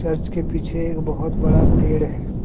Church के पीछे एक बहुत बड़ा पेड़ है।